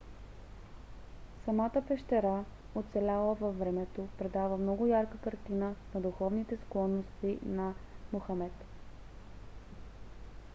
самата пещера оцеляла във времето предава много ярка картина на духовните склонности на мохамед